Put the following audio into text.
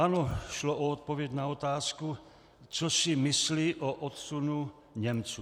Ano, šlo o odpověď na otázku, co si myslí o odsunu Němců.